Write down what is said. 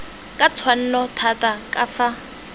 ka tshwanno thata ka fa